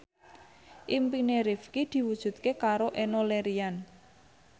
impine Rifqi diwujudke karo Enno Lerian